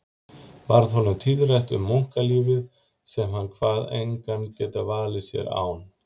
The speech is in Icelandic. Varð honum tíðrætt um munklífið sem hann kvað engan geta valið sér án